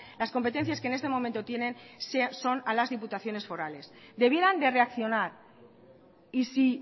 las competencias que en este momento tienen son a las diputaciones forales debieran de reaccionar y si